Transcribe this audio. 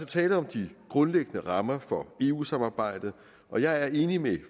tale om de grundlæggende rammer for eu samarbejdet og jeg er enig med